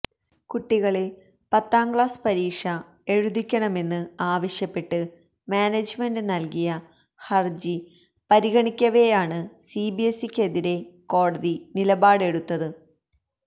കുട്ടികളെ പത്താം ക്ലാസ് പരീക്ഷ എഴുതിക്കണമെന്ന് ആവശ്യപ്പെട്ട് മാനേജ്മെന്റ് നല്കിയ ഹര്ജി പരിഗണിക്കവേയാണ് സിബിഎസ്ഇക്കെതിരേ കോടതി നിലപാടെടുത്തത്